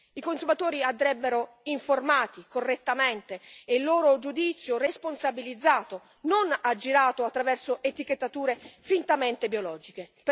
I consumatori andrebbero informati correttamente e il loro giudizio responsabilizzato, non aggirato attraverso etichettature fintamente biologiche.